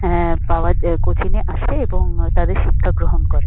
হ্যাঁ পাওয়ায এ কোচিং -এ আসে এবং তাদের শিক্ষা গ্রহণ করে।